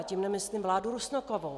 A tím nemyslím vládu Rusnokovu.